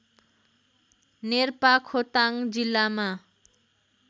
नेर्पा खोटाङ जिल्लामा